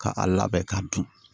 Ka a labɛn ka dun